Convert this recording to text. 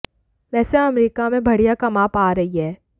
वैसे यह अमेरिका में बढ़िया कमा पा रही है